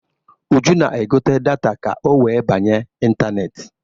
Uju na-egote data ka ọ wee banye ịntaneetị.